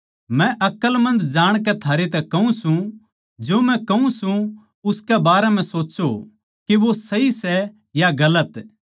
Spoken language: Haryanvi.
मै अकलमंद जाणकै थारै तै कहूँ सूं जो मै कहूँ सूं उसकै बारें म्ह सोच्चों के वा सही सै या गलत